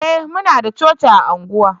eh muna da coci a unguwa